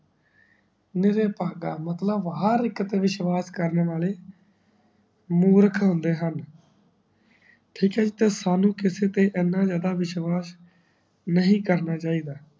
ਨਿਰ ਪਾਗਾ ਮਤਲਵ ਹਰ ਇੱਕ ਤੇ ਵਿਸ਼ਵਾਸ ਕਰਨ ਵਾਲੇ ਮੂਰਖ ਹੁੰਦੇ ਹਨ ਠੀਕ ਹੈ ਜੀ ਤੇ ਸਾਨੂ ਕਿਸੇ ਤੇ ਏਨਾ ਜਾਂਦਾ ਵਿਸ਼ਵਾਸ ਨੀ ਕਰਨਾ ਚਾਹੀਦਾ